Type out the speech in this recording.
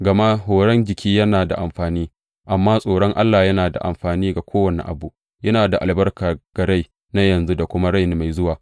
Gama horon jiki yana da amfani, amma tsoron Allah yana da amfani ga kowane abu, yana da albarka ga rai na yanzu da kuma rai mai zuwa.